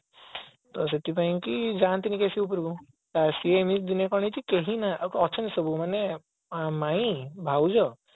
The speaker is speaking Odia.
ତ ସେଥିପାଇଁ କି ଯାଆନ୍ତିନି କେହି ବେଶି ଉପରକୁ ସେ ଏମିତି ଦିନେ କଣ ହେଇଛି କେହି ନାହାନ୍ତି ଅଛନ୍ତି ସବୁ ମାନେ ମାଇଁ ଭାଉଜ